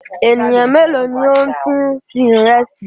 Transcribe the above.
Ènìyàn méèló ni o ti ń sin ìrẹsì?